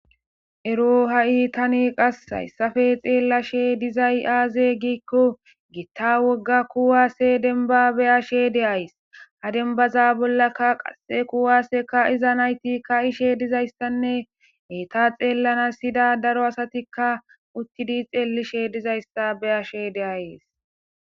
Eroo ha7i tani qasse hayssafe xeellashe dizay aaze giikko gitta wogga kuwaasse denbba beyashe de7ays. ha dembbaza bollakka qase kuwaase kaa7iza nayti kaa7ishe dizayssanne eeta xeellanas yida daro asatikka uttidi xeellishe dizayssa beyashe de7ayis.